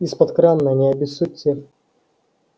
из-под крана не обессудьте